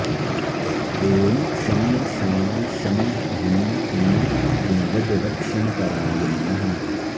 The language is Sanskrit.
ॐ शं शां षं ह्रीं क्लीं गुणवद्रक्षणपराय नमः